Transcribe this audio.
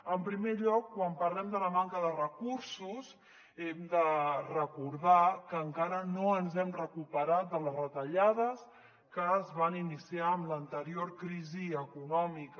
en primer lloc quan parlem de la manca de recursos hem de recordar que encara no ens hem recuperat de les retallades que es van iniciar en l’anterior crisi econòmica